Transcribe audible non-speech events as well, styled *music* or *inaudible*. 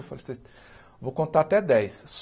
Eu falei, *unintelligible* vou contar até dez.